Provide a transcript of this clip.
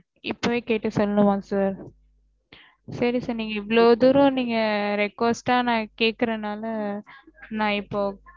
இப்போவே கேட்டு சொல்லனும்மார sir சேரி sir இவளவு தூரம் நீங்க request ஆஹ் கேக்குறதுனால நா இப்ப